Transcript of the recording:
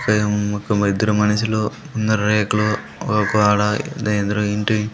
ఒక్కఇద్దరు మనుషులు ముందర రేకులు ఒక్కకడ ఎదురు ఇంటి--